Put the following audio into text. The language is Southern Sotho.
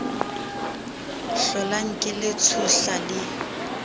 hlolang ke le tshohla le